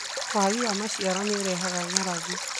Wagi wa maciaro nĩ ũrehaga ng'aragu